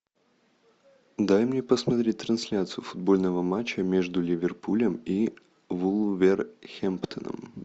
дай мне посмотреть трансляцию футбольного матча между ливерпулем и вулвергэмптоном